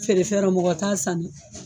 Feere fɛnrɔ mɔgɔ t'a san